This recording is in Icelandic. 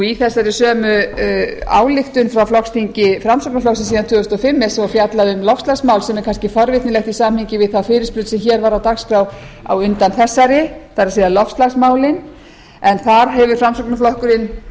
í þessari sömu ályktun frá flokksþingi framsóknarflokksins síðan tvö þúsund og fimm er svo fjallað um loftslagsmál sem er kannski forvitnilegt í samhengi við þá fyrirspurn sem hér var á dagskrá á undan þessari það er loftslagsmálin en þar hefur framsóknarflokkurinn